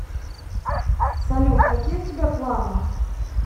салют какие у тебя планы